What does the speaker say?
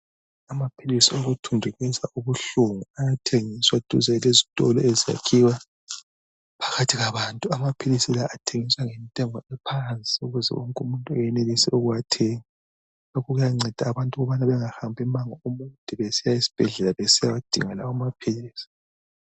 Amaphilisi okuthundubeza ubuhlungu ayathengiswa duze lezitolo ezakhiwa phakathi kwabantu. Amaphilisi la athengiswa ngentengo ephansi ukuze wonk' umuntu enelise ukuwathenga. Lokhu kuyanceda abantu ukubana bengahambi umango omude besiya esibhedlela besiyadinga lawo amaphilisi.